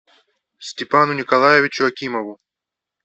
степану николаевичу акимову